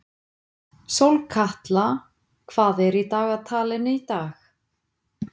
Sólkatla, hvað er í dagatalinu í dag?